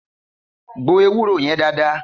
Gbò èwúrò yen dàdá